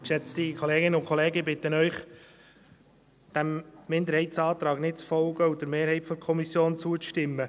Ich bitte Sie, diesem Minderheitsantrag nicht zu folgen und der Mehrheit der Kommission zuzustimmen.